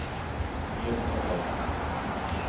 Elin Edvardsson